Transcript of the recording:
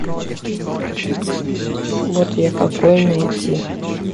вот я какой найти